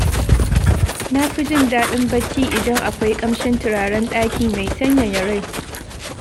Na fi jin daɗin bacci idan akwai ƙamshin turaren ɗaki mai sanyaya rai.